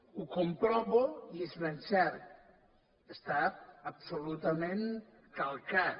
ho comprovo i és ben cert està absolutament calcat